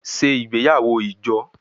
Ṣe igbeyawo ijo!